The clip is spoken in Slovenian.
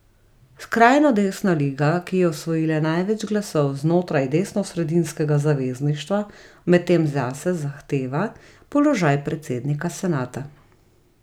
Skrajno desna Liga, ki je osvojila največ glasov znotraj desnosredinskega zavezništva, medtem zase zahteva položaj predsednika senata.